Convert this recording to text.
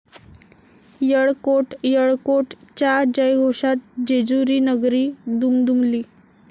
यळकोट..यळकोट...'च्या जयघोषात जेजुरीनगरी दुमदुमली